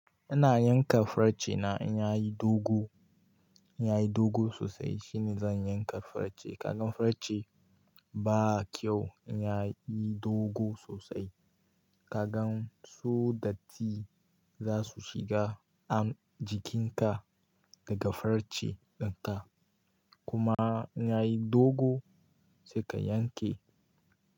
Ina yanka farce na in yayi dogo, in yayi dogo sosai shine zan yanka farce. Kaga farce ba kyau in yayi dogo sosai, ka gan su datti za su shiga jikinka daga farce dinka. Kuma in yayi dogo sai ka yanke.